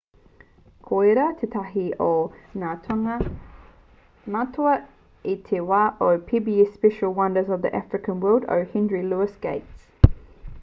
koirā tētahi o ngā tūnga matua i te wā o te pbs special wonders of the african world o henry louis gates